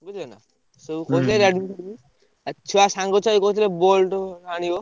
ବୁଝିଲନା ସବୁ Redmi ଆଉ ଛୁଆ ସାଙ୍ଗ ଛୁଆ ବି କହୁଥିଲେ Boult ଆଣିବ।